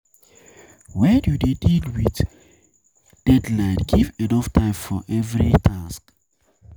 when you dey deal with deal with deadline, give enough time for every task